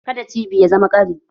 Ka da cibi ya zama ƙari